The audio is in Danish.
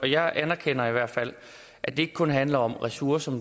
jeg anerkender i hvert fald at det ikke kun handler om ressourcer